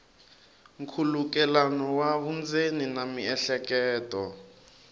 nkhulukelano wa vundzeni na miehleketo